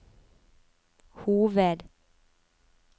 hoved